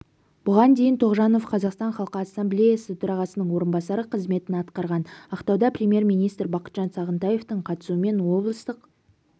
бұған дейін тоғжанов қазақстан халқы ассамблеясы төрағасының орынбасары қызметін атқарған ақтауда премьер-министр бақытжан сағынтаевтың қатысуымен облыстық